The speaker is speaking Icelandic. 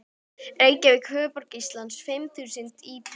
Reykjavík, höfuðborg Íslands, fimm þúsund íbúar.